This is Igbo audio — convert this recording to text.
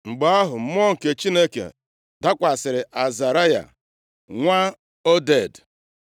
Mgbe ahụ, Mmụọ nke Chineke dakwasịrị Azaraya nwa Oded.